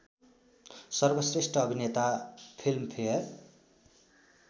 सर्वश्रेष्ठ अभिनेता फिल्मफेयर